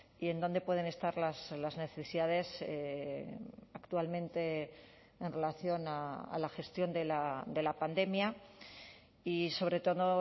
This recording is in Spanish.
y en donde pueden estar las necesidades actualmente en relación a la gestión de la pandemia y sobre todo